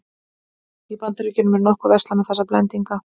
Í Bandaríkjunum er nokkuð verslað með þessa blendinga.